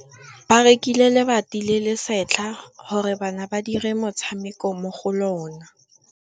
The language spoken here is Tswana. Ba rekile lebati le le setlha gore bana ba dire motshameko mo go lona.